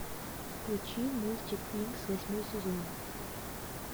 включи мультик винкс восьмой сезон